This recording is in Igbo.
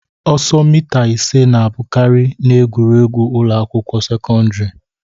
Ọsọ mita ise na-abụkarị n'egwuregwu ụlọ akwụkwọ sekọndrị